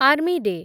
army day